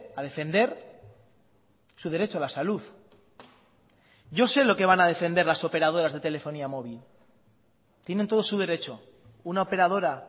a defender su derecho a la salud yo sé lo que van a defender las operadoras de telefonía móvil tienen todo su derecho una operadora